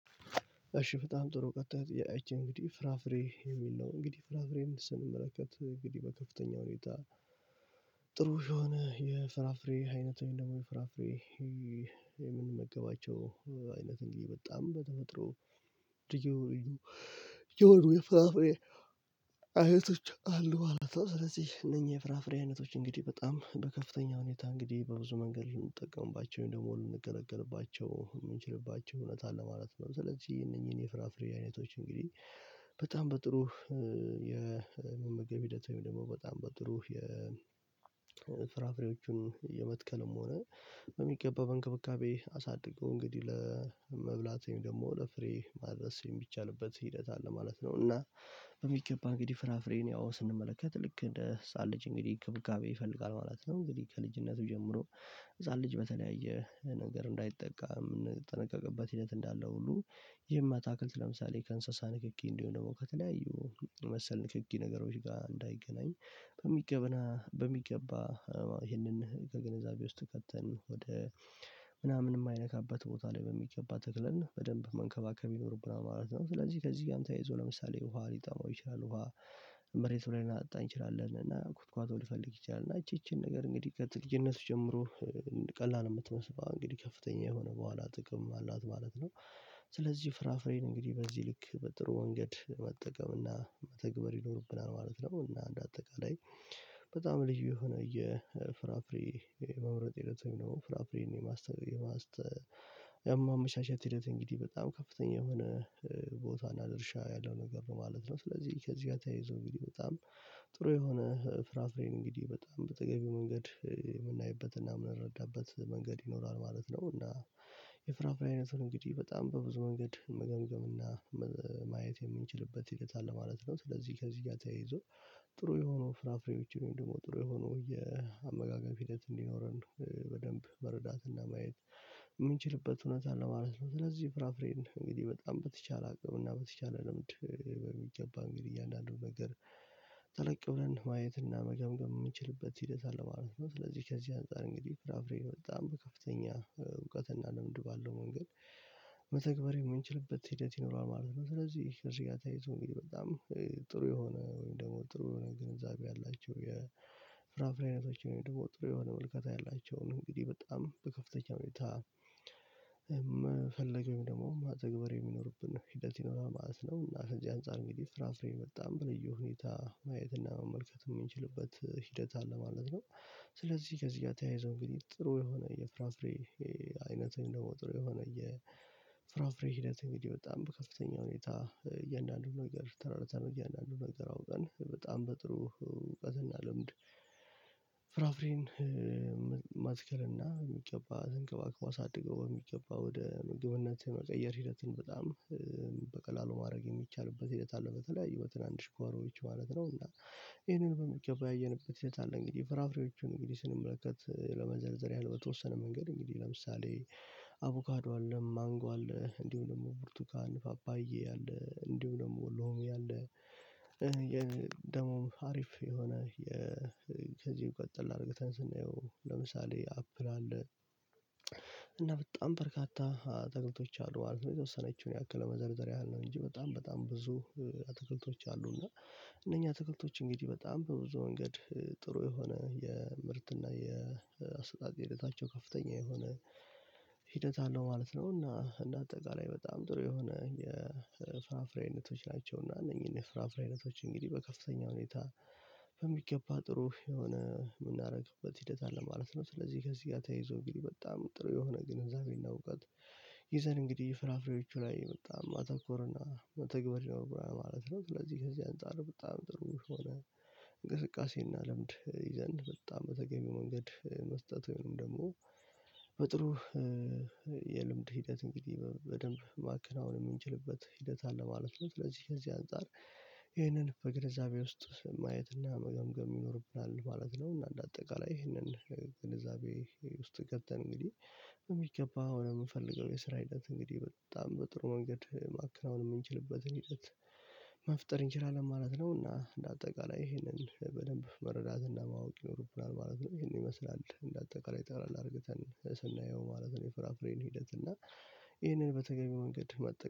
እሺ በጣም ጥሩ ቀጥታ አይቼ እንግዲህ ፍራፍሬ የሚል ነው። እንግዲህ ፍራፍሬን ስንመለከት እንግዲህ በከፍተኛ ሁኔታ ጥሩ የሆነ የፍራፍሬ አይነት ወይም ደግሞ የፍራፍሬ- የምንመገባቸው አይነት እንግዲህ በጣም በተፈጥሮ ልዩ የሆኑ የፍራፍሬ አይቶች አሉ ማለት ነው። ስለዚህ እነኚህ የፍራፍሬ አይነቶች እንግዲህ በጣም በከፍተኛ ሁኔታ እንግዲህ በብዙ መንገድ ልንጠቀምባቸው ወይም ደግሞ ልንገለገልባቸው የምንችልባቸው እውነት አለ ማለት ነው። ስለዚህ እነኝህን የፍራፍሬ አይነቶች እንግዲህ- በጣም በጥሩ የመመገብ ሂደት ወይም ደግሞ በጣም በጥሩ የፍራፍሬዎቹን የመትከልም ሆነ- በሚገባው በእንክብካቤ አሳድገው እንግዲህ ለመብላት ወይም ደግሞ ለፍሬ ማድረስ የሚቻልበት ሂደት አለ ማለት ነው። እና- በሚገባ እንግዲህ ፍራፍሬን ያው ስንመለከት ልክ እንደ ህፃን ልጅ እንግዲህ እንክብካቤ ይፈልጋል ማለት ነው። እንግዲህ ከልጅነቱ ጀምሮ ህፃን ልጅ በተለያየ ነገር እንዳይጠቃ የምንጠነቀቅበት ሂደት እንዳለ ሁሉ- ይህም አታክልት ለምሳሌ ከእንስሳ ንክኪ እንዲሆን ደግሞ ከተለያዩ መሰል ንክኪ ነገሮች ጋር እንዳይገናኝ- በሚገባ ይህንን ከገንዛቤ ውስጥ ከተን ወደ ምናምን የማይነካበት ቦታ ላይ በሚገባ ተክለን በደንብ መንከባከብ ይኖርብናል ማለት ነው። ስለዚህ ከዚህ ጋርም ተይዞ ለምሳሌ ውሃ ሊጣመው ይችላል። ውሃ መሬቱ ላይ ልናጠጣ እንችላለን። እና ኩትኩአቶ ሊፈልግ ይችላል። እና እቺ እቺን ነገር እንግዲህ ከት ልጅልነት ጀምሮ- ቀላል የምትመስላዋ እንግዲህ ከፍተኛ የሆነ በኋላ ጥቅም አላት ማለት ነው። ስለዚህ ፍራፍሬን እንግዲህ በዚህ ልክ በጥሩ መንገድ መጠቀምና መተግበር ይኖርብናል ማለት ነው። እና እንደ አጠቃላይ- በጣም ልዩ የሆነ የፍራፍሬ መምረጥ ሂደት ነው። ፍራፍሬን የማስተ የማመቻቸት ሂደት እንግዲህ በጣም ከፍተኛ የሆነ ቦታ እና ድርሻ ያለው ነገር ማለት ነው። ስለዚህ ከዚህ ጋር ተያይዞ እንግዲህ በጣም- ጥሩ የሆነ ፍራፍሬን እንግዲህ በጣም በተገቢው መንገድ የምናይበትና የምንረዳበት መንገድ ይኖራል ማለት ነው። እና- የፍራፍሬ አይነቱን እንግዲህ በጣም በብዙ መንገድ መገምገም እና- ማየት የምንችልበት ሂደት አለ ማለት ነው። ስለዚህ ከዚህ ጋር ተያይዞ ጥሩ የሆኑ ፍራፍሬዎችን ወይም ደግሞ ጥሩ የሆነ የአመጋገብ ሂደት እንዲኖረን በደንብ መረዳትና ማየት- የምንችልበት እውነት አለ ማለት ነው። ስለዚህ ፍራፍሬን እንግዲህ በጣም በተቻለ አቅም እና በተቻለ ልምድ በሚገባ እንግዲህ እያንዳንዱ ነገር- ጠለቅ ብለን ማየትና መገምገም የምንችልበት ሂደት አለ ማለት ነው። ስለዚህ ከዚህ አንፃር እንግዲህ ፍራፍሬ በጣም በከፍተኛ እውቀት እና ልምድ ባለው መንገድ- መተግበር የምንችልበት ሂደት ይኖራል ማለት ነው። ስለዚህ እዚህ ጋር ተያይዞ እንግዲህ በጣም ጥሩ የሆነ ወይም ደግሞ ጥሩ ግንዛቤ ያላቸው- ምክንያት ደሞ ጥሩ የሆነ ም ልከታ ያላቸውን እንግዲህ በጣም በከፍተኛ ሁኔታ መፈለግ ወይም ደግሞ መተግበር የሚኖርብን ሂደት ይኖራል ማለት ነው። እና ከዚህ አንፃር እንግዲህ ፍራፍሬ በጣም በልዩ ሁኔታ ማየትና መመልከት የምንችልበት ሂደት አለ ማለት ነው። ስለዚህ ከዚህ ጋር ተያይዞ እንግዲህ ጥሩ የሆነ የፍራፍሬ- አይነት እንደ ወትሮው የሆነ የፍራፍሬ ሂደት እንግዲህ በጣም በከፍተኛ ሁኔታ እያንዳንዱ ነገር ተረድተን እያንዳንዱ ነገር አውቀን በጣም በጥሩ እውቀትና ልምድ- ፍራፍሬን መትከል እና በሚገባ ተንከባክቦ አሳድጎ በሚገባ ወደ ምግብነት መቀየር ሂደትን በጣም- በቀላሉ ማድረግ የሚቻልበት ሂደት አለ። በተለያዩ በትናንሽ ጋሮዎች ማለት ነው። እና ይሄንን በሚገባ ያየንበት ሂደት አለ። እንግዲህ ፍራፍሬዎቹን እንግዲህ ስንመለከት ለመዘርዘር ያህል በተወሰነ መንገድ እንግዲህ ለምሳሌ- አቮካዶ: ማንጎ እንዲሁም ደግሞ ብርቱካን ፓፓያ አለ። እንዲሁ ደግሞ ሎሚ አለ። ደሞ አሪፍ የሆነ- ከዚህ ቀጠል አርገተን ስናየው ለምሳሌ አፕል አለ። እና በጣም በርካታ አትክልቶች አሉ። የተወሰነችውን ያክል ለመዘርዘር ያህል ነው እንጂ። በጣም በጣም ብዙ አትክልቶች አሉ። እና- እነኛ አትክልቶች እንግዲህ በጣም በብዙ መንገድ ጥሩ የሆነ የምርት የአሰጣጥ ሂደታቸው ከፍተኛ የሆነ- ሂደት አለው ማለት ነው። እና እንደ አጠቃላይ በጣም ጥሩ የሆነ የፍራፍሬ አይነቶች ናቸው እና እነኚህን የፍራፍሬ አይነቶች እንግዲህ በከፍተኛ ሁኔታ- በሚገባ ጥሩ የሆነ የምናደርግበት ሂደት አለ ማለት ነው። ስለዚህ ከዚህ ጋር ተያይዞ እንግዲህ በጣም ጥሩ የሆነ ግንዛቤና እውቀት ይዘን እንግዲህ ፍራፍሬዎቹ ላይ በጣም ማተኮር ና- መተግበር ይኖርብናል ማለት ነው። ስለዚህ ከዚህ አንፃር በጣም ጥሩ ሆነ እንቅስቃሴና ልምድ ይዘን በጣም በተገቢው መንገድ መስጠት ወይንም ደግሞ በጥሩ- የልምድ ሂደት እንግዲህ በደንብ ማከናወን የምንችልበት ሂደት አለ ማለት ነው። ስለዚህ ከዚህ አንፃር- ይህንን በግንዛቤ ውስጥ ማየትና መገምገም ይኖርብናል ማለት ነው። እና እንደ አጠቃላይ ይህንን ግንዛቤ ውስጥ ገብተን እንግዲህ በሚገባ ወደ ምንፈልገው የስራ አይነት እንግዲህ በጣም በጥሩ መንገድ ማከናወን የምንችልበትን ሂደት- መፍጠር እንችላለን ማለት ነው። እና- እንደ አጠቃላይ ይሄንን በደንብ መረዳት ማወቅ ይኖርብናል ማለት ነው። ይሄን ይመስላል። እንደ አጠቃላይ ጠቅለል አድርገን ስናየው ማለት ነው የፍራፍሬን ሂደት። እና- ይህንን በተገቢው መንገድ መጠቀም-